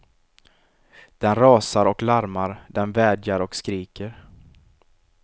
Den rasar och larmar, den vädjar och skriker.